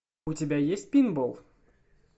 у тебя есть пинбол